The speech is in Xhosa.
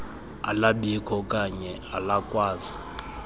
alabikho okane alakwazi